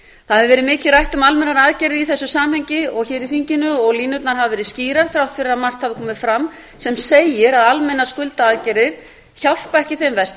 það hefur verið mikið rætt um almennar aðgerðir í þessu samhengi hér í þinginu og línurnar hafa verið skýrar þrátt fyrir að margt hafi komið fram sem segir að almennar skuldaaðgerðir hjálpa ekki þeim verst